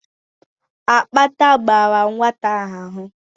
Akpata gbàrà nwata ahụ